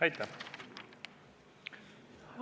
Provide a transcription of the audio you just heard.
Aitäh!